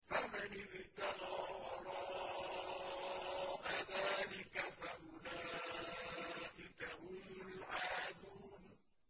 فَمَنِ ابْتَغَىٰ وَرَاءَ ذَٰلِكَ فَأُولَٰئِكَ هُمُ الْعَادُونَ